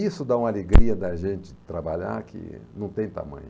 Isso dá uma alegria da gente trabalhar que não tem tamanho.